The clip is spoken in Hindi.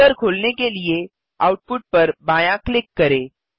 फोल्डर खोलने के लिए आउटपुट पर बायाँ क्लिक करें